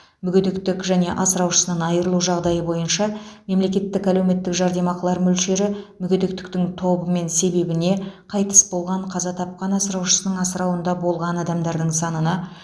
мүгедектік және асыраушысынан айырылу жағдайы бойынша мемлекеттік әлеуметтік жәрдемақылар мөлшері мүгедектіктің тобы мен себебіне қайтыс болған қаза тапқан асыраушының асырауында болған адамдардың санына